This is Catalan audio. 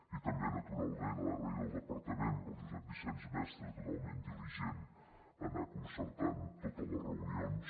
i també naturalment donar les gràcies al departament al josep vicenç mestre totalment diligent a anar concertant totes les reunions